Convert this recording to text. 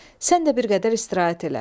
Sən də bir qədər istirahət elə.